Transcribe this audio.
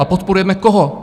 A podporujeme koho?